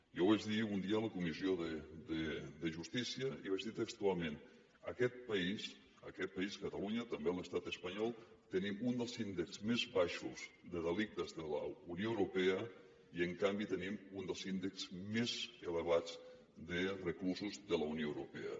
jo ho vaig dir un dia a la comissió de justícia i vaig dir textualment a aquest país aquest país catalunya també a l’estat espanyol tenim un dels índexs més baixos de delictes de la unió europea i en canvi tenim un dels índexs més elevats de reclusos de la unió europea